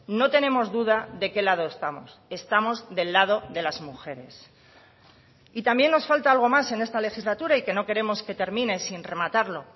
no tenemos duda de qué lado estamos estamos del lado de las mujeres y también nos falta algo más en esta legislatura y que no queremos que termine sin rematarlo